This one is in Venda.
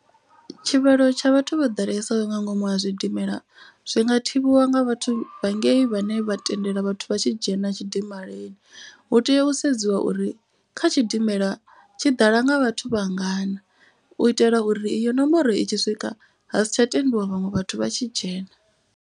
Tshivhalo tsha vhathu vho ḓalesaho nga ngomu ha zwidimela zwi nga thivhiwa nga vhathu vha ngei vhane vha tendela vhathu vha tshi dzhena tshidimelani. Hu tea u sedziwa uri kha tshidimela tshi ḓala nga vhathu vha ngana. U itela uri iyo nomboro i tshi swika ha sitsha tendiwa vhaṅwe vhathu vha tshi dzhena.